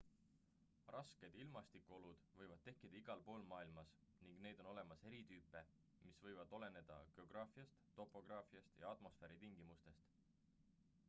rasked ilmastikuolud võivad tekkida igalpool maailmas ning neid on olemas eri tüüpe mis võivad oleneda geograafiast topograafiast ja atmosfääritingimustest